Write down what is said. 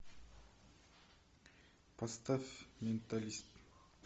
поставь менталист